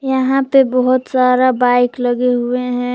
यहां पे बहुत सारा बाइक लगे हुए हैं।